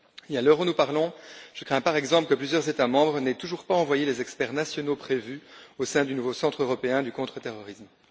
À l'heure où nous parlons, je crains, par exemple, que plusieurs États membres n'aient toujours pas envoyé les experts nationaux prévus au sein du nouveau centre européen de lutte contre le terrorisme.